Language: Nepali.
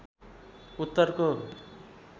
उत्तरको